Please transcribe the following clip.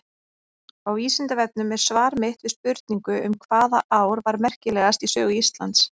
Á Vísindavefnum er svar mitt við spurningu um hvaða ár var merkilegast í sögu Íslands.